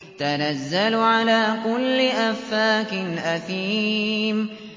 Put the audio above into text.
تَنَزَّلُ عَلَىٰ كُلِّ أَفَّاكٍ أَثِيمٍ